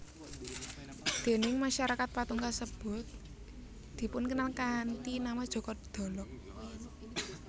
Déning masyarakat patung kasebut dipunkenal kanthi nama Joko Dolog